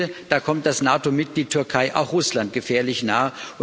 Ich finde, da kommt das NATO Mitglied Türkei auch Russland gefährlich nah.